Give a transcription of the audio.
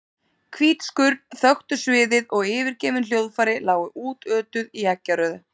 Hvít skurn þöktu sviðið og yfirgefin hljóðfæri lágu útötuð í eggjarauðu.